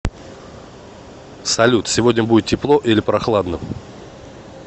салют сегодня будет тепло или прохладно